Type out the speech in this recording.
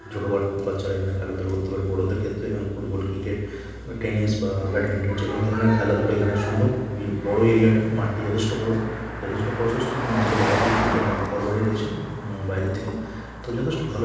ছোটো বা-বাচ্চারা এখানে খেলাধুলো করতে পারে বড়োদের ক্ষেত্রে এখানে ফুটবল ক্রিকেট বা টেনিস বা ব্যাটমিন্টন যেকোনো ধরণের খেলাধুলা এখানে সম্ভব খুবই বড়ো এরিয়া টা মাঠটি যথেষ্ট বড়ো যথেষ্ট প্রশস্ত এবং মাঠের বাইরে দেখতে পাচ্ছি অনেক ঘরবাড়ি রয়েছে বাইরের দিকে তো যথেষ্ট ভালো--